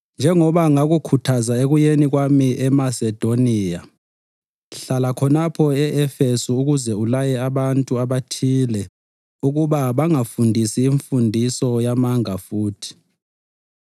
Njengoba ngakukhuthaza ekuyeni kwami eMasedoniya, hlala khonapho e-Efesu ukuze ulaye abantu abathile ukuba bangafundisi imfundiso yamanga futhi